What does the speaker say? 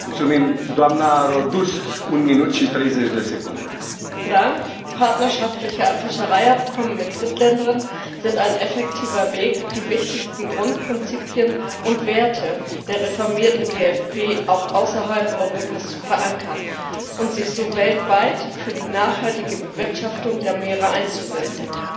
Herr Präsident! Partnerschaftliche Fischereiabkommen mit Drittländern sind ein effektiver Weg, die wichtigsten Grundprinzipien und Werte der reformierten GFP auch außerhalb Europas zu verankern und sich so weltweit für die nachhaltige Bewirtschaftung der Meere einzusetzen.